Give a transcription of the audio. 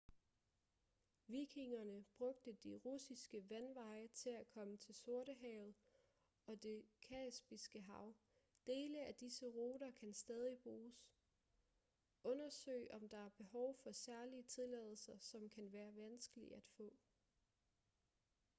vikingerne brugte de russiske vandveje til at komme til sortehavet og det kaspiske hav dele af disse ruter kan stadig bruges undersøg om der er behov for særlige tilladelser som kan være vanskelige at få